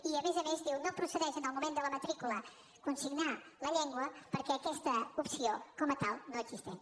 i a més a més diu no procedeix en el moment de la matrícula consignar la llengua perquè aquesta opció com a tal no existeix